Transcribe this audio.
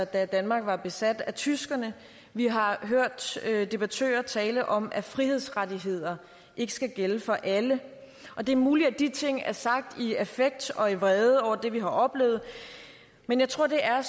da danmark var besat af tyskerne vi har hørt debattører tale om at frihedsrettighederne ikke skal gælde for alle det er muligt at de ting er sagt i affekt og vrede over det vi har oplevet men jeg tror at det er